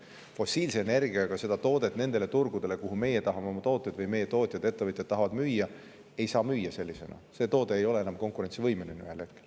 Fossiilenergiaga seda toodet nendele turgudele, kuhu meie tahame oma tooteid müüa või kuhu meie tootjad, ettevõtjad tahavad müüa, ei saa sellisena müüa ja siis see toode ei ole enam ühel hetkel konkurentsivõimeline.